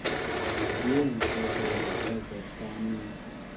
yeentlekele ezehla mihla